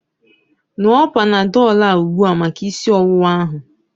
Ṅụọ Panadọl a ugbua maka isi ọwụwa ahu